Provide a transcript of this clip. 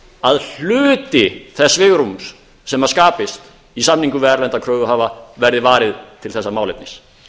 að hluti þess svigrúms sem skapist í samningum við erlenda kröfuhafa verði varið til þessa málefnis